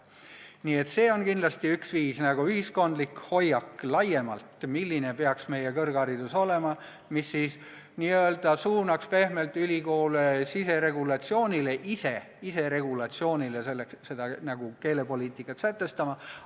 Nii et see on kindlasti üks viis – ühiskondlik hoiak laiemalt, milline peaks meie kõrgharidus olema –, mis n-ö suunaks ülikoole pehmelt siseregulatsioonile, iseregulatsioonile, ise seda keelepoliitikat sätestama.